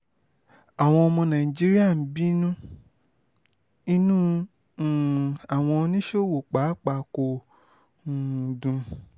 àwọn ọmọ nàìjíríà ń bínú inú um àwọn oníṣòwò pàápàá kò um dùn